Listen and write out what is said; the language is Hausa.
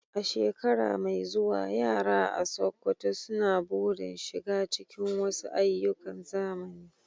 A shekara mai zuwa, yara a Sokoto suna burin shiga cikin wasu ayyukan zamani.